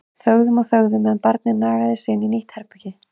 Þögðum og þögðum á meðan barnið nagaði sig inn í nýtt herbergi.